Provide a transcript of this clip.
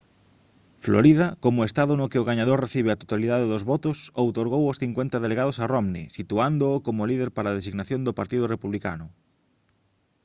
florida como estado no que o gañador recibe a totalidade dos votos outorgou os cincuenta delegados a romney situándoo como líder para a designación do partido republicano